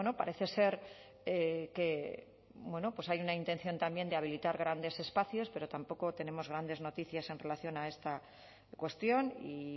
parece ser que bueno pues hay una intención también de habilitar grandes espacios pero tampoco tenemos grandes noticias en relación a esta cuestión y